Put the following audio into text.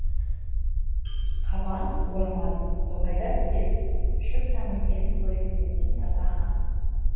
қабан орман тоғайда түлеп шөп тамырмен қоректенетін таза аң